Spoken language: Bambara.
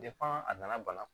a nana bana